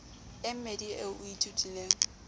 e mmedi eo o ithutileng